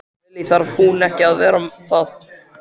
Lillý: Þarf hún ekki að vera það?